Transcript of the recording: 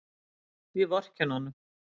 Ég vorkenni honum.